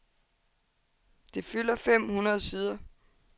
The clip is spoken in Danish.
Det fylder fem hundrede sider.